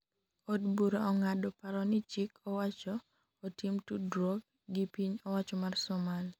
od bura ong'ado paro ni chik owacho otim tudruok gi piny owacho mar Somali